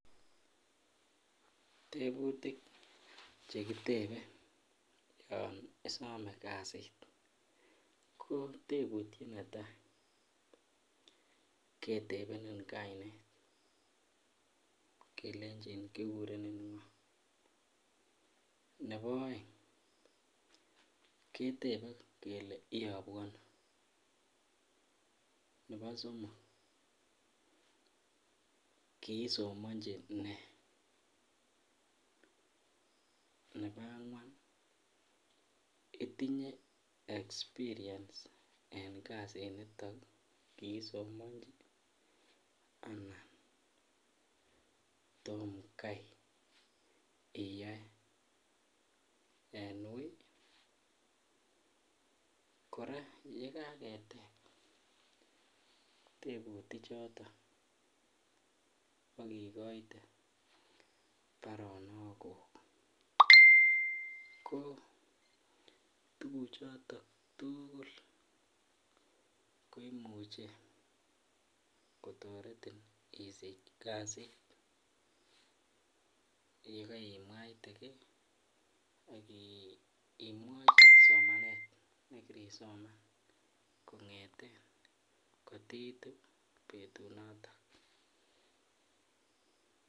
Tebutik chekitebe yon isome kasit kotebutiet neta ketebenin kainet kelenjin kikurenin ngo. Nebo aeng ketebe kele iyabu ano. Nebo somok, kiisomanji nee. Nebo angwan, itinye expirience en kasit nito kiisomanji anan tomkai iyoe en ui. Kora yekaketep teputichoto ak igoite baronokuk ko tuguchoto tugul koimuche kotaretin isich kasit yekaimwaite ge ak imwaite somanet ne kirisoman kotiitu betunotok.